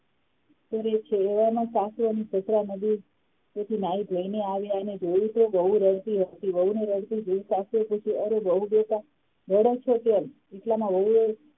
એવામાં સાસુ અને સસરા નદીએથી નાહી ધોઈને આવ્યા અને જોયું કે વહુ રડતી હતી વહુને રડતી જોઈને સાસુએ પૂછ્યું અરે વહુ બેટા રડે છે કેમ એટલામાં વહુએ